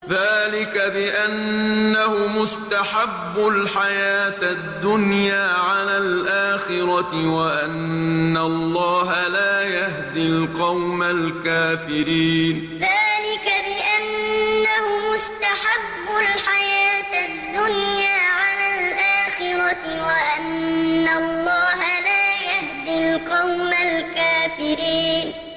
ذَٰلِكَ بِأَنَّهُمُ اسْتَحَبُّوا الْحَيَاةَ الدُّنْيَا عَلَى الْآخِرَةِ وَأَنَّ اللَّهَ لَا يَهْدِي الْقَوْمَ الْكَافِرِينَ ذَٰلِكَ بِأَنَّهُمُ اسْتَحَبُّوا الْحَيَاةَ الدُّنْيَا عَلَى الْآخِرَةِ وَأَنَّ اللَّهَ لَا يَهْدِي الْقَوْمَ الْكَافِرِينَ